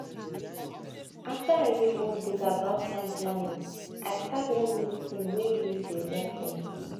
after i read one book about time planning i start one new tin wey really dey work for me